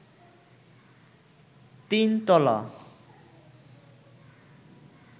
তিন তলা